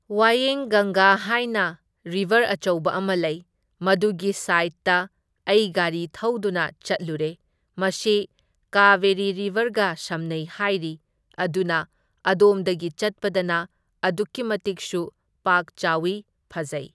ꯋꯌꯦꯡ ꯒꯪꯒꯥ ꯍꯥꯏꯅ ꯔꯤꯚꯔ ꯑꯆꯧꯕ ꯑꯃ ꯂꯩ, ꯃꯗꯨꯒꯤ ꯁꯥꯏꯠꯇ ꯑꯩ ꯒꯥꯔꯤ ꯊꯧꯗꯨꯅ ꯆꯠꯂꯨꯔꯦ, ꯃꯁꯤ ꯀꯥꯕꯦꯔꯤ ꯔꯤꯕꯔꯒ ꯁꯝꯅꯩ ꯍꯥꯏꯔꯤ ꯑꯗꯨꯅ ꯑꯗꯣꯝꯗꯒꯤ ꯆꯠꯄꯗꯅ ꯑꯗꯨꯛꯀꯤ ꯃꯇꯤꯛꯁꯨ ꯄꯥꯛ ꯆꯥꯎꯏ, ꯐꯖꯩ ꯫